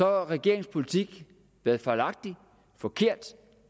har regeringens politik været fejlagtig forkert